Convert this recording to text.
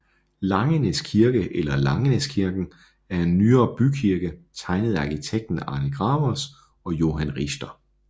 Langenæs Kirke eller Langenæskirken er en nyere bykirke tegnet af arkitekten Arne Gravers og Johan Richter